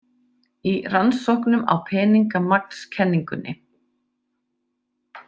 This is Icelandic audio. Í Rannsóknum á peningamagnskenningunni.